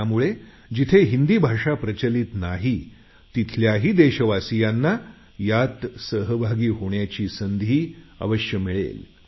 त्यामुळे जिथे हिंदी भाषा प्रचलित नाही तिथल्याही देशवासियांना यात सहभागी होण्याची संधी आवश्यक मिळेल